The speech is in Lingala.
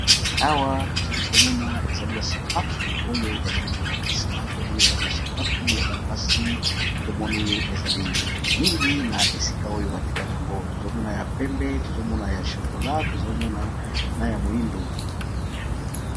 Awa tozali komona ezali ba sapatu oyo bazali ko lakisa tomoni ezali ba sapatu ya bana basi, tomoni ezali mingi na esika oyo ba tekaka yango tozo mona ya pembe tozo mona ya chokola tozo mona na ya moyindo.